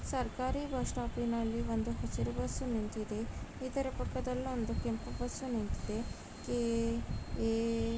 ಸರ್ಕಾರಿ ಬಸ್‌ ಸ್ಟಾಪ್ಪಿ ನಲ್ಲಿ ಒಂದು ಹಸಿರು ಬಸ್ ನಿಂತಿದೆ ಇದರ ಪಕ್ಕದಲ್ಲಿ ಒಂದು ಕೆಂಪು ಬಸ್‌ ನಿಂತಿದೆ ಕೆ.ಎ --